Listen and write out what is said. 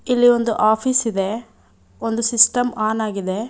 ಇಲ್ಲಿ ಒಂದು ಆಫೀಸ್ ಇದೆ ಒಂದು ಸಿಸ್ಟಮ್ ಆನ್ ಆಗಿದೆ.